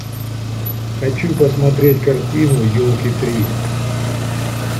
хочу посмотреть картину елки три